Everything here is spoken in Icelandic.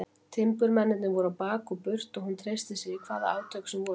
Timburmennirnir voru á bak og burt og hún treysti sér í hvaða átök sem voru.